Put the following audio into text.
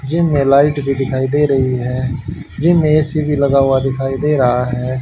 Gym मे light दिखाई दे रही है जीम मे ए_सी भी लगा हुआ दिखाई दे रहा है।